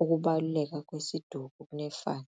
ukubaluleka kwesiduko kunefani.